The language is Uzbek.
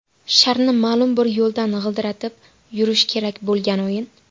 Sharni ma’lum bir yo‘ldan g‘ildiratib yurish kerak bo‘lgan o‘yin.